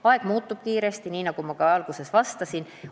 Aeg muutub kiiresti, nagu ma alguses ütlesin.